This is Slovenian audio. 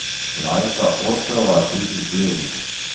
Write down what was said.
Lajša osteoartritis gležnjev.